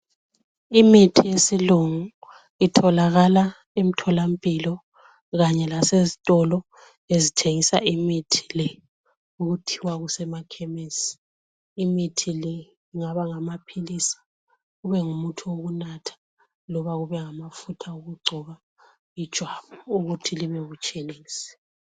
Imithi yesilungu itholakala emtholampilo, kanye kasezitolo ezithengisa imithi le, okuthiwa kusemakhemesi. Imithi le ingaba ngamaphilisi, kube ngumuthi wokunatha. Kumbe kube ngamafutha okugcoba ijwabu ukuthi libebutshelezi.